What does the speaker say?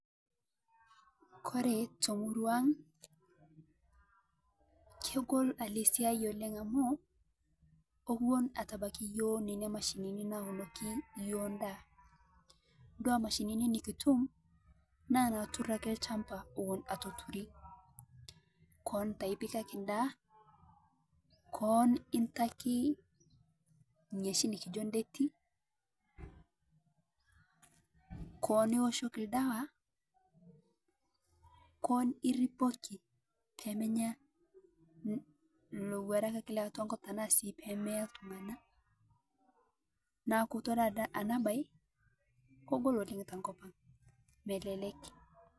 Kore tomurua hang kegol ale siyai oleng amuu kowun etabaki yoo nenia mashinini naunoki yoo ndaa dua mashinini nikitum naa naatur akee lshambaa ewun etoturi, koon taa ipikaki ndaa, koon itakii niashi nikijo detii, koon ewuoshoki ldawa naa koon iripoki pemenya lowurak leatua nkop tanaa sii pemeyaa ltung'ana naaku todua ana bai kogol oleng tokopang' melelek.